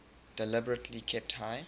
deliberately kept high